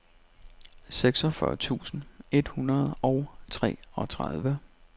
seksogfyrre tusind et hundrede og treogtredive